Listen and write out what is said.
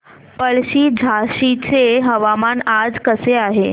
पळशी झाशीचे हवामान आज कसे आहे